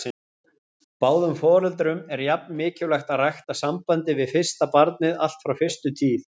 Báðum foreldrum er jafn mikilvægt að rækta sambandið við barnið allt frá fyrstu tíð.